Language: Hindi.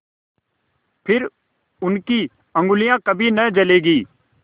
फिर उनकी उँगलियाँ कभी न जलेंगी